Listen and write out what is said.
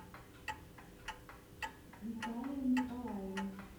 виталием николаевым